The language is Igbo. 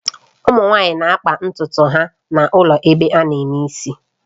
Ụmụ nwanyị na-akpa ntutu ha n'ụlọ ebe ana eme isi